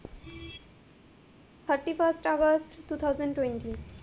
Thirty first August two thousand twenty,